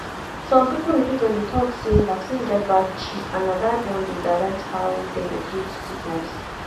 some people religion dey talk say vaccine get bad chip and na that one dey direct how dem dey treat sickness.